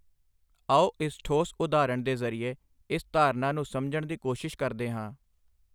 ਆਓ ਇਸ ਠੋਸ ਉਦਾਹਰਣ ਦੇ ਜ਼ਰੀਏ ਇਸ ਧਾਰਨਾ ਨੂੰ ਸਮਝਣ ਦੀ ਕੋਸ਼ਿਸ਼ ਕਰਦੇ ਹਾਂ।